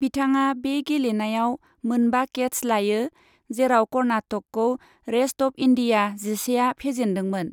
बिथाङा बे गेलेनायाव मोन बा केट्च लायो, जेराव कर्नाटकखौ रेष्ट अफ इन्दिया जिसेआ फेजेन्दोंमोन।